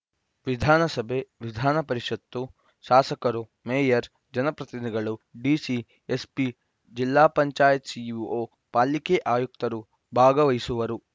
ವಿಧಾನಸಭೆ ವಿಧಾನಪರಿಷತ್ತು ಶಾಸಕರು ಮೇಯರ್‌ ಜನಪ್ರತಿನಿಧಿಗಳು ಡಿಸಿ ಎಸ್‌ಪಿ ಜಜಿಲ್ಲಾ ಪಂಚಾಯತ್ ಸಿಇಒ ಪಾಲಿಕೆ ಆಯುಕ್ತರು ಭಾಗವಹಿಸುವರು